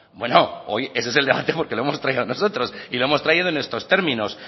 bueno hoy ese es el debate porque lo hemos traído nosotros y lo hemos traído en estos términos